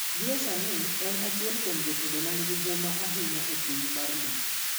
Gi esani en achiel kuom jothumbe man gi huma ahinya e piny mar luo.